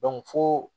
fo